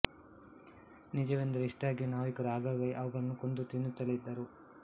ನಿಜವೆಂದರೆ ಇಷ್ಟಾಗಿಯೂ ನಾವಿಕರು ಆಗಾಗ ಅವುಗಳನ್ನು ಕೊಂದು ತಿನ್ನುತ್ತಲೇ ಇದ್ದರು